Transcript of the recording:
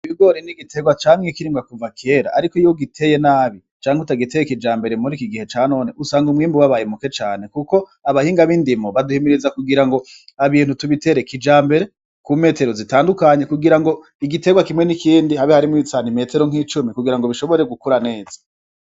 Ibigore n'igiterwa camwe ikirimbwa kuva kera, ariko iyiwe giteye nabi canke utagiteye ikija mbere muri iki gihe ca none usanga umwembu w'abaye muke cane, kuko abahinga b'indimo baduhimiriza kugira ngo abintu tubiterekija mbere ku metero zitandukanye kugira ngo igiterwa kimwe n'ikindi habe harimwo bitsana i metero nk'icumi kugira ngo bishobore gukura neza.